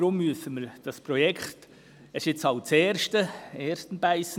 Deshalb müssen wir das Projekt stoppen, bevor wir damit beginnen.